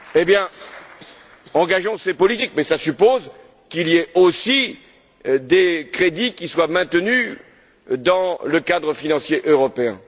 Eh bien, engageons ces politiques, mais cela suppose qu'il y ait aussi des crédits qui soient maintenus dans le cadre financier européen.